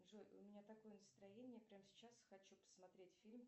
джой у меня такое настроение прямо сейчас хочу посмотреть фильм